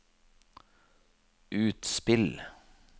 utspill